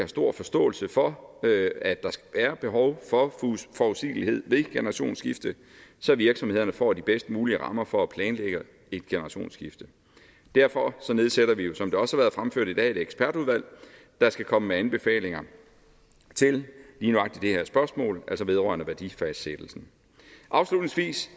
stor forståelse for at der er behov for forudsigelighed ved et generationsskifte så virksomhederne får de bedst mulige rammer for at planlægge et generationsskifte derfor nedsætter vi jo som det også har været fremført i dag et ekspertudvalg der skal komme med anbefalinger til lige nøjagtig det her spørgsmål altså vedrørende værdifastsættelsen afslutningsvis